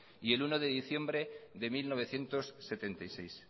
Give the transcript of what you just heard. y el uno de diciembre de mil novecientos setenta y seis